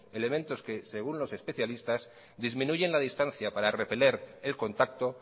elementos que según los especialistas disminuyen la distancia para repeler el contacto